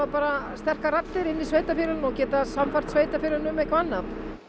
sterkar raddir inni í sveitarfélögunum og geta sannfært sveitarfélögin um annað